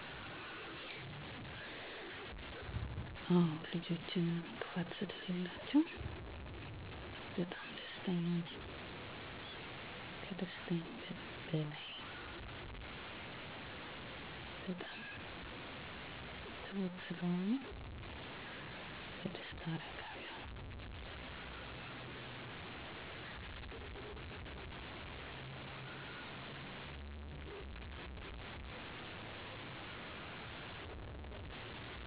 ልጆቼን እማስተምራቸዉ አስተዋይ፣ በጎ እና ቅን ልብ ያላቸዉ እንዲሆኑ፣ ላላቸዉ ነገር ሁሉ እማይሳስቱ፣ ሀገራቸዉን እና ባህላቸዉን ወዳድ እንዲሆነ አድርጌ እያስተማርኩ አሳድጋቸዋለሁ። ልጆች በረከት ናቸዉ። ሁሉ ነገራቸዉ ያስደስታል ትልቁ ደስታየ በዉስጣችዉ ምንም ክፋት ስለላቸዉ፣ ንፁ ልብ ስላላቸዉ ሁሌም ደስታን ያመጣሉ። ልጆች ማሳደግ ከባዱ ሙሉ ጊዜሽን መስጠት ግድ ነዉ፣ እነሱን በስነስርአት ለማሳደግ የኢኮኖሚ ችግር፣ ሲታመሙ ይሄን አመመኝ ብለዉ ስለማይናገሩ እነዚህ ነገሮች ከባድ ናቸዉ።